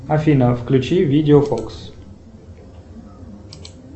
афина включи видео фокс